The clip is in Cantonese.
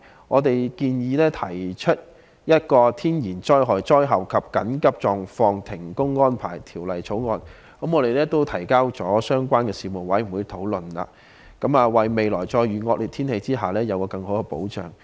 我們建議制訂《天然災害及災後停工安排條例草案》，並已提交相關的事務委員會討論，為未來再遇惡劣天氣時，給予僱員更好的保障。